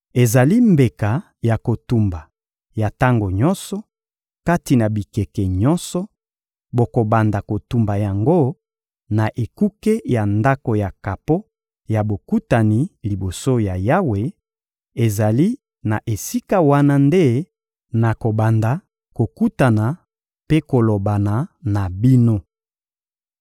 Ezali mbeka ya kotumba ya tango nyonso, kati na bikeke nyonso: bokobanda kotumba yango na ekuke ya Ndako ya kapo ya Bokutani liboso ya Yawe; ezali na esika wana nde nakobanda kokutana mpe kolobana na bino.